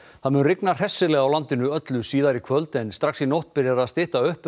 það mun rigna hressilega á landinu öllu síðar í kvöld en strax í nótt byrjar að stytta upp um